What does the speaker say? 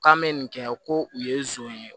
K'an bɛ nin kɛ ko u ye ye